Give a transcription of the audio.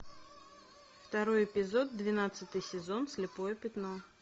второй эпизод двенадцатый сезон слепое пятно